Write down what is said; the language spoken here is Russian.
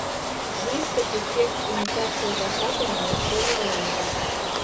выставь эффект имитация заката на настольной лампе